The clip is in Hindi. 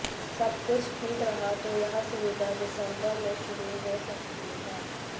सब कुछ ठीक रहा तो यह सुविधा दिसंबर में शुरू हो सकती है